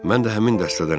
Mən də həmin dəstədənəm.